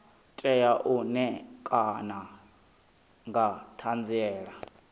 tea u ṋekana nga ṱhanziela